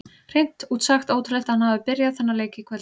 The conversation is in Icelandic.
Hreint út sagt ótrúlegt að hann hafi byrjað þennan leik í kvöld.